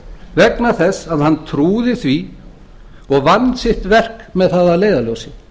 vegna þess að hann trúði því og vann sitt verk með það að leiðarljósi